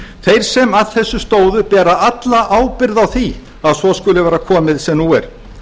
þeir sem að þessu stóðu bera alla ábyrgð á því að svo skuli vera komið sem nú er